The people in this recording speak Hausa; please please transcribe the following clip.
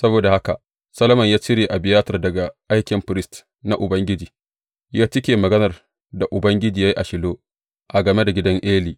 Saboda haka Solomon ya cire Abiyatar daga aikin firist na Ubangiji, ya cika maganar da Ubangiji ya yi a Shilo game da gidan Eli.